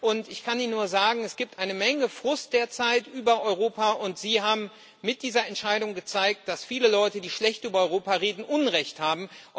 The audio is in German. Und ich kann Ihnen nur sagen Es gibt eine Menge Frust derzeit über Europa, und Sie haben mit dieser Entscheidung gezeigt, dass viele Leute, die schlecht über Europa reden, Unrecht haben.